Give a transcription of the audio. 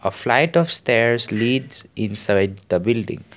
flight of stairs leads inside the building.